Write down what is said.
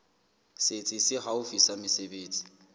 setsi se haufi sa mesebetsi